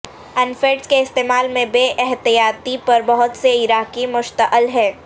ان funds کے استعمال میں بے احتیاطی پر بہت سے عراقی مشتعل ہیں